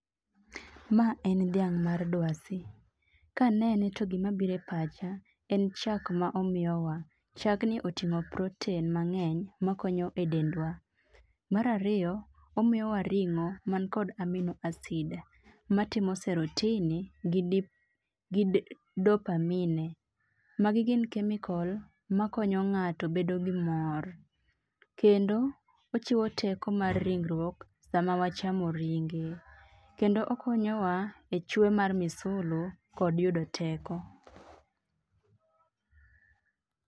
Mae en thiang' mar dwasi, ka anene to gimabiro e pacha en chak ma omiyowa , chagni otingo' protein mange'ny makonyo e dendwa, mar ariyo omiyowa ringo' man kod amino acid matimo serotonin gi dopamine magi gin chemical makonyo nga'to bedo gi mor, kendo ochiwo teko mar riwruok sama wachamo ringe, kendo okonyowa e chwe mar misolo kod yudo teko.